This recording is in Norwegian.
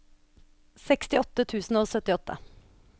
sekstiåtte tusen og syttiåtte